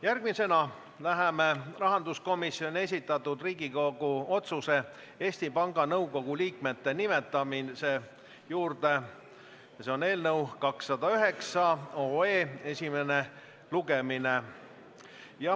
Järgmisena läheme rahanduskomisjoni esitatud Riigikogu otsuse "Eesti Panga Nõukogu liikmete nimetamine" juurde, tegemist on otsuse eelnõu 209 esimese lugemisega.